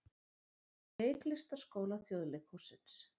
Í Leiklistarskóla Þjóðleikhússins.